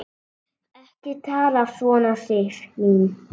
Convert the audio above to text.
Ekki tala svona, Sif mín!